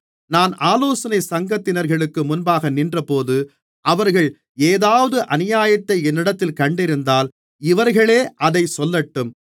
நான் ஆலோசனைச் சங்கத்தினர்களுக்கு முன்பாக நின்றபோது அவர்கள் ஏதாவது அநியாயத்தை என்னிடத்தில் கண்டிருந்தால் இவர்களே அதைச் சொல்லட்டும்